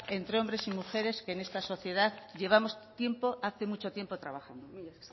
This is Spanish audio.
entre hombres y mujeres que en esta sociedad llevamos tiempo hace mucho tiempo trabajando mila